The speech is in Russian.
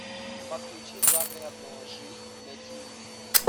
подключи загородная жизнь на тиви